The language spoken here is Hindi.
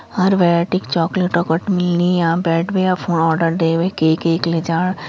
हर वैरायटी के चॉकलेट ह लेके बैठु या आर्डर दे के केक ले जाण।